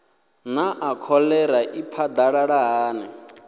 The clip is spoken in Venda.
naa kholera i phadalala hani